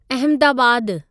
Ahmedabad